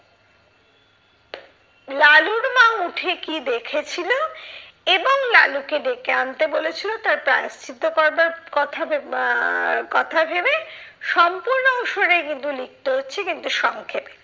লালুর মা উঠে কি দেখেছিলো, এবং লালুকে ডেকে আনতে বলেছিলো তার প্রায়শ্চিত্ত করবার কথা ভেবে আহ কথা ভেবে সম্পূর্ণ অংশটাই কিন্তু লিখতে হচ্ছে কিন্তু সংক্ষেপে।